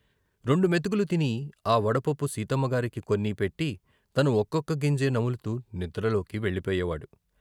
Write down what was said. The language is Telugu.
రెండు మెతుకులు తిని ఆ వడపప్పు సీతమ్మ గారికి కొన్ని పెట్టి తను ఒక్కొక్క గింజే నములుతూ నిద్రలోకి వెళ్ళిపోయే వాడు.